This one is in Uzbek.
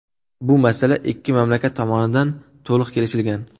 Bu masala ikki mamlakat tomonidan to‘liq kelishilgan.